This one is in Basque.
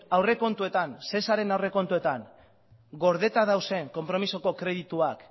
aurrekontuetan aurrekontuetan gordera dauzen konpromezuko kredituak